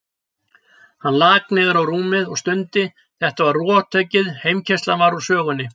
Hann lak niður á rúmið og stundi, þetta var rothöggið, heimkeyrslan var úr sögunni.